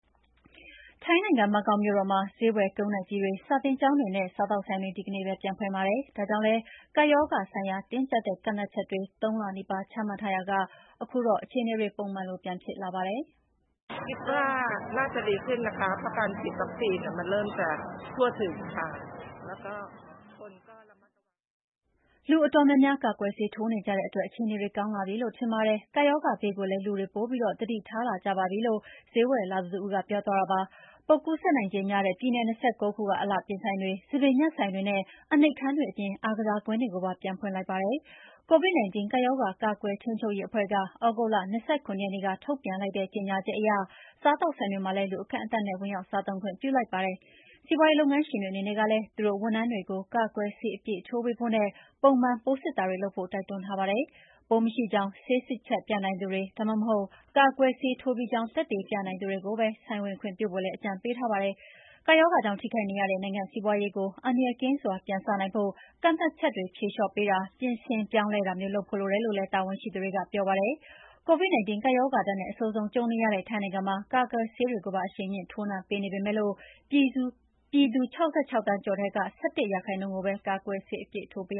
ထိုင်းနိုင်ငံ၊ ဘန်ကောက်မြို့တော်မှာ ဈေးဝယ်ကုန်တိုက်ကြီးတွေ၊ စာသင်ကျောင်းတွေနဲ့ စားသောက်ဆိုင်တွေ ဒီကနေ့ပဲ ပြန်ဖွင့်ပါတယ်။ ဒါကြောင့်လည်း ကပ်ရောဂါဆိုင်ရာ တင်းကျပ်တဲ့ ကန့်သတ်ချက်တွေ ၃ လနီးပါးချမှတ်ထားရာက ခုတော့ အခြေအနေတွေ ပုံမှန်လို ပြန်ဖြစ်လာပါတယ်။ "လူအတော်များများ ကာကွယ်ဆေးထိုးနေကြတဲ့အတွက် အခြေအနေတွေ ကောင်းလာပြီလို့ထင်ပါတယ်။ ကပ်ရောဂါဘေးကိုလည်း လူတွေပိုပြီး သတိထားလာကြပါတယ် "လို့ ဈေးဝယ်လာသူ Orrapin Peenanee ကပြောပါတယ်။ ပိုးကူးစက်နိုင်ခြေများတဲ့ ပြည်နယ်၂၉ ခုက အလှပြင်ဆိုင်တွေ၊ ဆံပင်ညှပ်ဆိုင်တွေ နဲ့ အနှိပ်ခန်းတွေအပြင် အားကစားကွင်းတွေကိုပါ ပြန်ဖွင့်ခွင့်ပြုလိုက်တာပါ။ COVID-19 ကပ်ရောဂါ ကာကွယ်ထိန်းချုပ်ရေးအဖွဲ့က သြဂုတ်လ ၂၇ ရက်နေ့မှာ ထုတ်ပြန်လိုက်တဲ့ ကြေငြာချက်အရ စားသောက်ဆိုင်တွေမှာလည်း လူအကန့်အသတ်နဲ့ ဝင်ရောက်စားသုံးခွင့်ပြုလိုက်ပါပြီ။ စီးပွါးရေးလုပ်ငန်းရှင်တွေအနေနဲ့လည်း သူတို့ဝန်ထမ်းတွေကို ကာကွယ်ဆေးအပြည့်ထိုးပေးဖို့နဲ့ ပုံမှန် ပိုးစစ်တာတွေလုပ်ဖို့ တိုက်တွန်းထားပါတယ်။ ပိုးမရှိကြောင်း ဆေးစစ်ချက်ပြနိုင်သူတွေ ဒါမှမဟုတ် ကာကွယ်ဆေးထိုးပြီးကြောင် းသက်သေပြနိုင်သူတွေကိုပဲ ဆိုင်ဝင်ခွင့်ပြုဖို့လည်း အကြံပေးထားပါတယ်။ ကပ်ရောဂါကြောင့် ထိခိုက်နေရတဲ့ နိုင်ငံ့စီးပွားရေးကို အန္တရာယ်ကင်းစွာ ပြန်စနိုင်ဖို့ ကန့်သတ်ချက်တွေဖြေလေ ျှာ့ပေးတာ၊ ပြင်ဆင်ပြောင်းလဲတာမျိုး လုပ်ဖို့လိုတယ်လို့လည်း တာဝန်ရှိသူတွေက ပြောပါတယ်။ COVID-19 ကပ်ရောဂါဒဏ်နဲ့ အဆိုးဆုံးကြုံနေရတဲ့ ထိုင်းနိုင်ငံမှာ ကာကွယ်ဆေးတွေကိုပါ အရှိန်မြှင့်ထိုးနှံပေးနေပေမယ့် ပြည်သူ ၆၆ သန်းကျော်ထဲက ၁၁% ကိုပဲ ကာကွယ်ဆေးအပြည့်ထိုးပေး